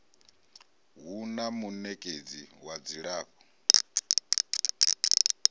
hu na munekedzi wa dzilafho